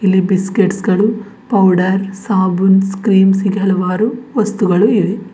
ಇಲ್ಲಿ ಬಿಸ್ಕಟ್ಸ್ ಗಳು ಪೌಡರ್ ಸಾಬೂನ್ಸ್ ಕ್ರೀಮ್ಸ್ ಹೀಗೆ ಹಲವಾರು ವಸ್ತುಗಳು ಇವೆ.